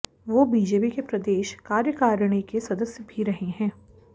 वो बीजेपी के प्रदेश कार्यकारिणी के सदस्य भी रहे हैं